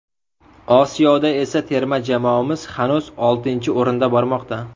Osiyoda esa terma jamoamiz hanuz oltinchi o‘rinda bormoqda.